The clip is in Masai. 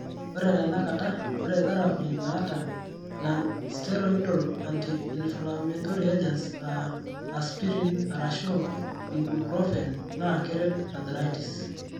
Ore teinakata, ore therapy naata non steroidal anti inflammatory agents aa (aspirin arashuu ibuprofen) naa keret arthritis.